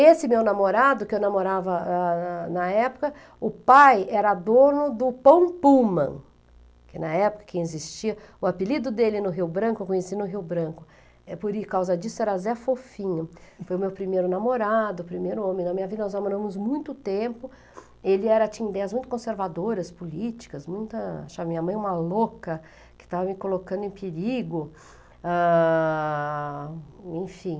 Esse meu namorado, que eu namorava ãh, na época, o pai era dono do Pão Puma, que na época que existia, o apelido dele no Rio Branco, eu conheci no Rio Branco, por causa disso era Zé Fofinho, foi o meu primeiro namorado, o primeiro homem da minha vida, nós namoramos muito tempo, ele tinha ideias muito conservadoras, políticas, muita, achava minha mãe uma louca, que estava me colocando em perigo, ah... enfim.